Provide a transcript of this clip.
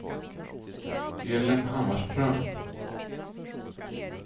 Elin Hammarström